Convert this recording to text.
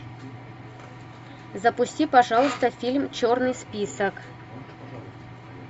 запусти пожалуйста фильм черный список